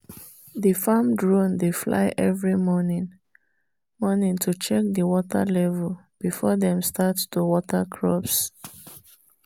the farm drone dey fly every morning morning to check the water level before dem start to water crops.